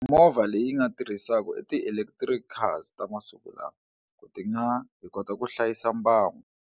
Movha leyi nga tirhisaku i ti-electric cars ta masiku lawa, ti nga hi kota ku hlayisa mbango.